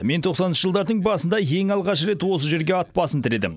мен тоқсаныншы жылдардың басында ең алғаш рет осы жерге ат басын тіредім